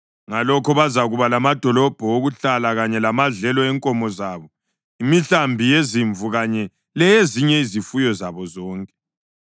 Ngalokho bazakuba lamadolobho okuhlala kanye lamadlelo enkomo zabo, imihlambi yezimvu kanye leyezinye izifuyo zabo zonke.